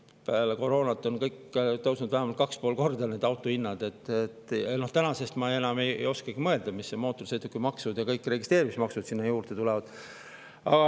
Peale koroonat on kõik autohinnad tõusnud vähemalt 2,5 korda ja ma enam ei oskagi mõelda, milline mootorsõidukimaks ja registreerimismaks sinna juurde tulevad.